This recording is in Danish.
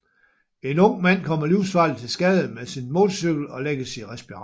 En ung mand kommer livsfarligt til skade med sin motorcykel og lægges i respirator